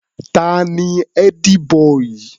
Ta ni ẹ́dí-bọì?